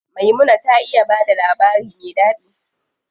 Maimuna ta iya bada labari me ɗaɗi.